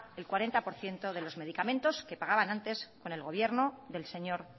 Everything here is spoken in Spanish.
el cuarenta por ciento de los medicamentos que pagaban antes con el gobierno del señor